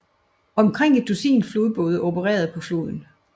Omkring et dusin flodbåde opererede på floden